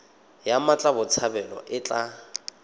ya mmatla botshabelo e tla